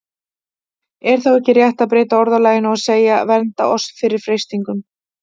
Er þá ekki rétt að breyta orðalaginu og segja: Vernda oss fyrir freistingum?